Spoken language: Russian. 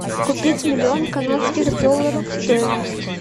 купить миллион канадских долларов стоимость